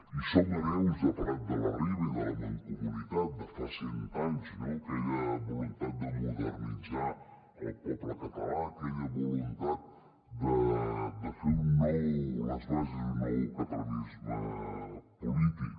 i som hereus de prat de la riba i de la mancomunitat de fa cent anys no d’aquella voluntat de modernitzar el poble català aquella voluntat de fer les bases d’un nou catalanisme polític